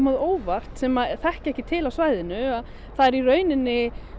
á óvart sem þekkir ekki til á svæðinu að það er í raun